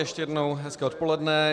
Ještě jednou hezké odpoledne.